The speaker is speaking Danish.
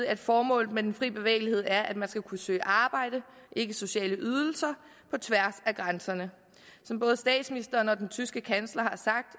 at formålet med den fri bevægelighed er at man skal kunne søge arbejde ikke sociale ydelser på tværs af grænserne som både statsministeren og den tyske kansler har sagt